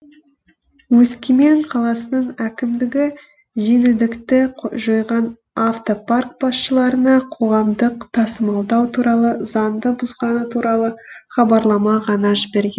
өскемен қаласының әкімдігі жеңілдікті жойған автопарк басшыларына қоғамдық тасымалдау туралы заңды бұзғаны туралы хабарлама ғана жіберген